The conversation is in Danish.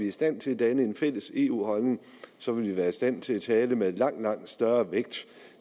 i stand til at danne en fælles eu holdning så vil være i stand til at tale med en langt langt større vægt